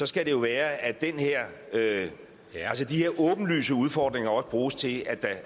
skal det være at de her åbenlyse udfordringer også bruges til